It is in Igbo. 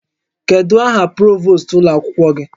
Kedu aha provost ụlọ akwụkwọ gị?